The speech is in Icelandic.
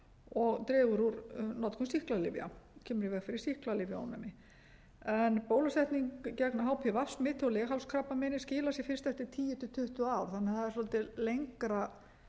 og dregur úr notkun sýklalyfja kemur í veg fyrir sýklalyfjaofnæmi bólusetning gegn hpv smiti og leghálskrabbameini skilar sér fyrst eftir tíu til tuttugu ár þannig að það er svolítið lengra